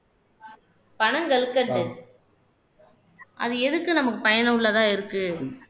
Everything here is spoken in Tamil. பனங்கற்கண்டு அது எதுக்கு நமக்கு பயனுள்ளதா இருக்கு